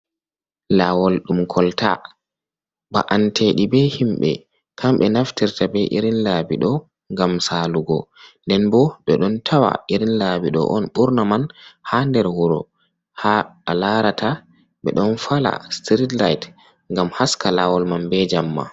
Lawol ɗum kolta ba'anteji be himɓe kamɓe naftirta be irin labi ɗo, ngam salugo nden bo ɓe ɗon tawa irin laɓi ɗo on ɓurna man ha nder wuro, ha alarata ɓe ɗon fala street-light ngam haska lawol man be jamma.